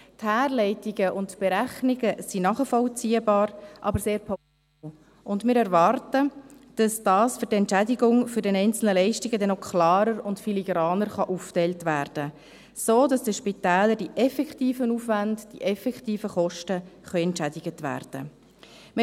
Die Herleitungen und Berechnungen sind nachvollziehbar, aber sehr pauschal, und wir erwarten, dass die Entschädigung für die einzelnen Leistungen noch klarer und filigraner aufgeteilt werden können, damit den Spitälern die effektiven Aufwände, die effektiven Kosten entschädigt werden können.